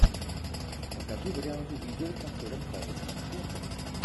покажи варианты видео с актером харрисоном фордом